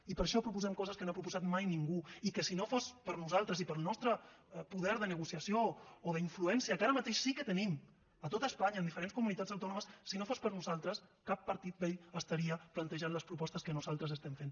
i per això proposem coses que no ha proposat mai ningú i que si no fos per nosaltres i pel nostre poder de negociació o d’influència que ara mateix sí que en tenim a tot espanya en diferents comunitats autònomes si no fos per nosaltres cap partit vell estaria plantejant les propostes que nosaltres estem fent